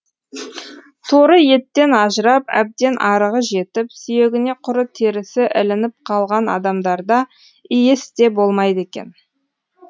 торы еттен ажырап әбден арығы жетіп сүйегіне құры терісі ілініп қалған адамдарда иіс те болмайды екен